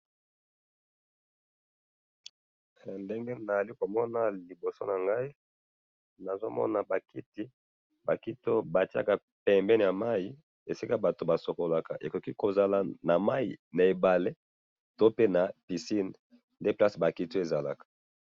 Awa na moni bakiti pembeni ya mai esika basokolaka.